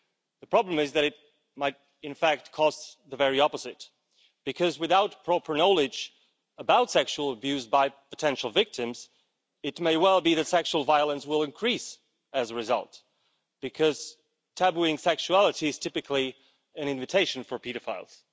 The problem is that it might in fact cause the very opposite because, without proper knowledge about sexual abuse by potential victims, it may well be that sexual violence will increase as a result, because making sexuality taboo is typically an invitation for paedophiles.